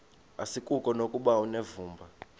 asikuko nokuba unevumba